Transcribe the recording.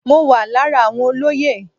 Mo wà lára àwọn olóyè.